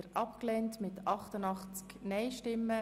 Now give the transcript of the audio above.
Wir kommen zum nächsten Themenblock.